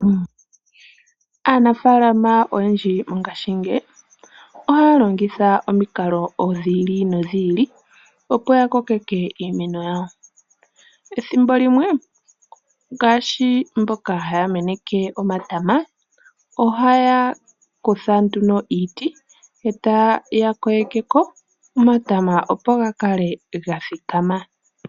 Aanafaalama oyendji mongashingeyi ohaya longitha omikalo dhi ili nodhi ili opo ya kokeke iimeno yawo. Ethimbo limwe ngaashi mboka haya meneke omatama ohaya kutha nduno iiti e taya kwilike ko omatama, opo ga kale ga thikama.